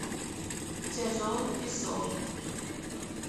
тяжелый песок